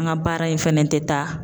An ka baara in fɛnɛ tɛ taa.